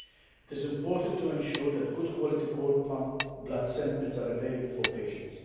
It is important to ensure that good quality cord blood samples are available for patients.